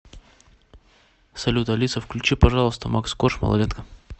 салют алиса включи пожалуйста макс корж малолетка